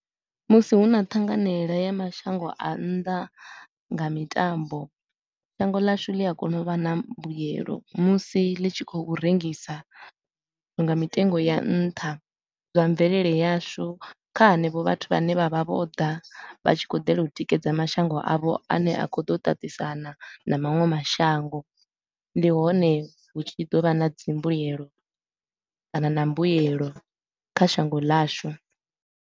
Musi hu na ṱhanganeela ya mashango a nnḓa nga mitambo, shango ḽashu ḽi a kona u vha na mbuelo musi ḽi tshi khou rengisa zwithu nga mitengo ya nṱha zwa mvelele yashu kha henevho vhathu vhane vha vha vho ḓa vha tshi khou dela u tikedza mashango avho a ne a khou ḓa u tatisana na maṅwe mashango. Ndi hone hu tshi ḓo vha na dzimbuelo kana na mbuyelo kha shango ḽashu.